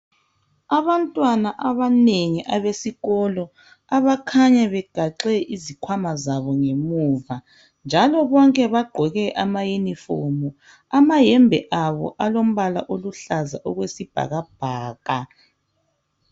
Abantwana abanengi abesikolo abakhanya begaxe izikhwama zabo ngemuva njalo bonke bagqoke ama yunifomu, amayembe abo alombala oluhlaza okwesibhakabhaka.